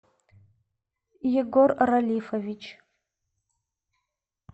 егор ралифович